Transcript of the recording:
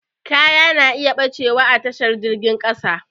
Kaya na iya ɓacewa a tashar jirgin ƙasa